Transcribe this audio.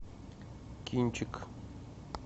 кинчик